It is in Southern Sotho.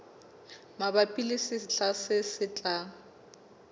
mabapi le sehla se tlang